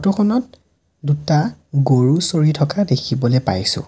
Photo খনত দুটা গৰু চৰি থকা দেখিবলৈ পাইছোঁ।